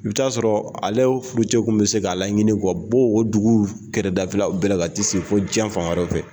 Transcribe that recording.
I bɛ'a sɔrɔ ale furucɛ kun bɛ se k'a la ɲini bɔ o dugu kɛrɛdafɛla bɛ la ka tɛ sigi fo diɲɛ fan wɛrɛ fɛ.